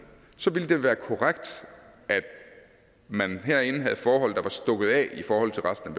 så ville det være korrekt at man herinde havde forhold der var stukket af i forhold til resten